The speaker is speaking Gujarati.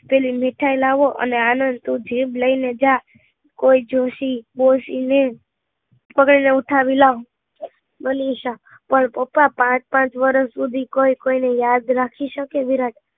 પેલી મીઠાઈ લાવો અને આનંદ થી જીભ લઇ ને જા કોઈ જોશે દોશી ને ઉઠાવી લાવો મનીષા, પણ પપ્પા કોઈ પાંચ પાંચ વર્ષ સુધી કોઈ કોઈ ને યાદ રાખે વિરાટ